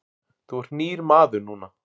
Þú ert nýr maður núna.